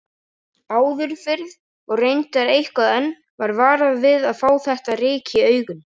Áður fyrr, og reyndar eitthvað enn, var varað við að fá þetta ryk í augun.